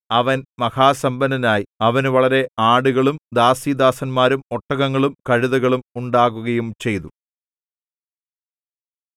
അവൻ മഹാസമ്പന്നനായി അവന് വളരെ ആടുകളും ദാസീദാസന്മാരും ഒട്ടകങ്ങളും കഴുതകളും ഉണ്ടാകുകയും ചെയ്തു